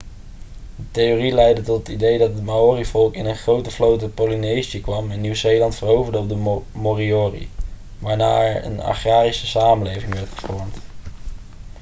de theorie leidde tot het idee dat het maori-volk in een grote vloot uit polynesië kwam en nieuw-zeeland veroverde op de moriori waarna er een agrarische samenleving werd gevormd